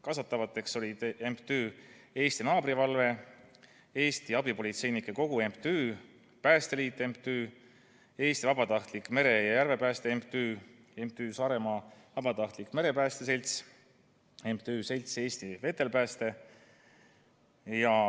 Kaasatavateks olid MTÜ Eesti Naabrivalve, Eesti Abipolitseinike Kogu MTÜ, Päästeliit MTÜ, Eesti Vabatahtlik Mere- ja Järvepääste MTÜ, MTÜ Saaremaa Vabatahtlik Merepääste Selts ja MTÜ Selts Eesti Vetelpääste.